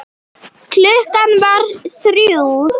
Klukkan varð þrjú.